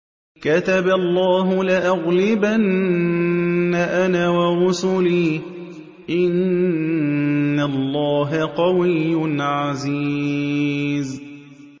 كَتَبَ اللَّهُ لَأَغْلِبَنَّ أَنَا وَرُسُلِي ۚ إِنَّ اللَّهَ قَوِيٌّ عَزِيزٌ